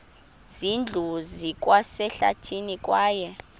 zindlu zikwasehlathini kwaye